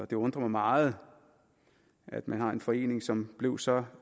det undrer mig meget at man har en forening som blev så